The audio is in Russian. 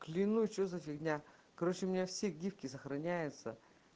клянусь что за фигня короче у меня все гифки сохраняются